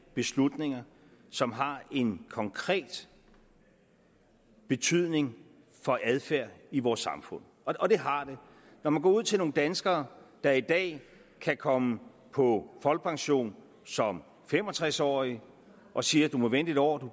beslutninger som har en konkret betydning for adfærden i vores samfund og det har det når man går ud til nogle danskere der i dag kan komme på folkepension som fem og tres årige og siger at de må vente et år